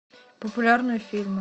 популярные фильмы